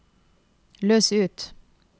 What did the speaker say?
løs ut